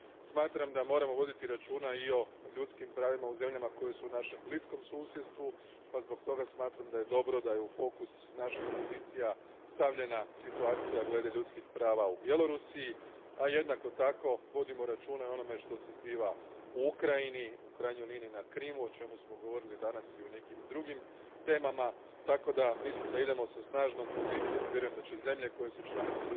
Smatram da moramo voditi računa i o ljudskim pravima u zemljama koje su našem bliskom susjedstvu pa zbog toga smatram da je dobro da je u fokus naših pozicija stavljena situacija glede ljudskih prava u Bjelorusiji, a jednako tako vodimo računa i o onome što se zbiva u Ukrajini, u krajnjoj liniji na Krimu, o čemu smo govorili danas i u nekim drugim temama, tako da mislim da idemo sa snažnom pozicijom i vjerujem da će zemlje koje su članice